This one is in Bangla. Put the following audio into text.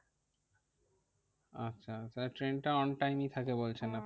আচ্ছা তাহলে ট্রেন তা on time ই থাকে বলছেন আপনি।